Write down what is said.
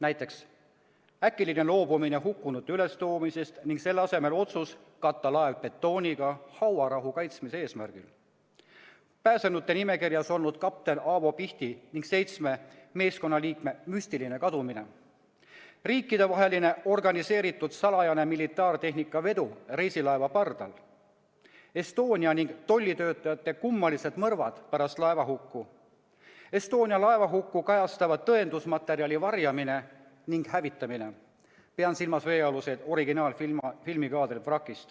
Näiteks, äkiline loobumine hukkunute ülestoomisest ning selle asemel otsus katta laev betooniga hauarahu kaitsmise eesmärgil, pääsenute nimekirjas olnud kapten Avo Pihti ning seitsme meeskonnaliikme müstiline kadumine, riikidevaheline organiseeritud salajane militaartehnika vedu reisilaeva pardal, laeva- ning tollitöötajate kummalised surmad pärast laevahukku, Estonia hukku kajastava tõendusmaterjali varjamine ning hävitamine .